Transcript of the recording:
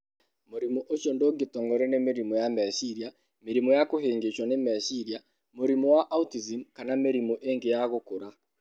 Mũrimũ ũcio ndũngĩtongorio nĩ mĩrimũ ya meciria, mĩrimũ ya kũhĩngĩcwo nĩ meciria, mũrimũ wa autism, kana mĩrimũ ĩngĩ ya gũkũra.